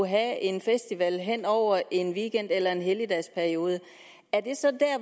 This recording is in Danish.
have en festival hen over en weekend eller en helligdagsperiode er det så der